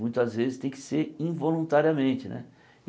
Muitas vezes tem que ser involuntariamente, né?